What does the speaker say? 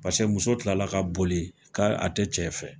pase muso kilala ka boli k'a a te cɛ fɛ